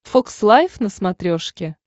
фокс лайф на смотрешке